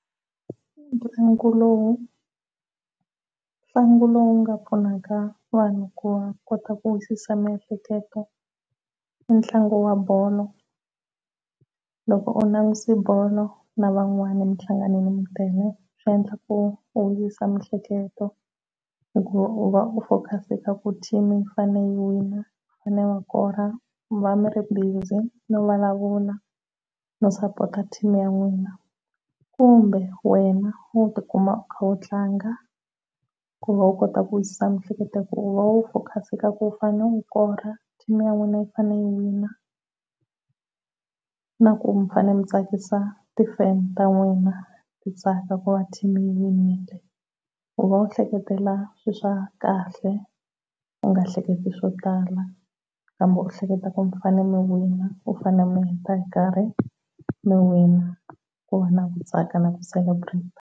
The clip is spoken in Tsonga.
Ntlangu lowu ntlangu lowu nga pfunaka vanhu ku kota ku wisisa miehleketo i ntlangu wa bolo loko u langutise bolo na van'wana mihlanganile mi tele swi endla ku u u vuyisa miehleketo hikuva u va u focus ka ku team yi fanele yi wina fanele va kora. Mi va mi ri busy no vulavula no support team ya n'wina, kumbe wena wo tikuma u kha u tlanga ku va u kota ku wisisa miehleketo ku va u focus ka ku u fanele wu kora team ya wena yi fanele yi wina na ku mi fanele ku tsakisa ti fan ta wena ti tsaka ku va team yi winile ku va u hleketela swilo swa kahle u nga hleketi swo tala kambe u hleketa ku mi fanele mi wina u fanele u heta hi nkarhi mi wina ku va na ku tsaka na ku celebrater.